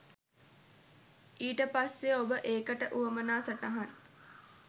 ඊට පස්සේ ඔබ ඒකට වුවමනා සටහන්